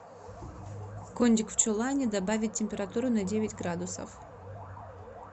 кондик в чулане добавить температуру на девять градусов